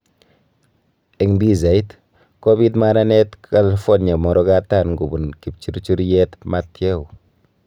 Eng pichait: Kobiit maranet Carolina murokatam kobun kipchurchuryet Matthew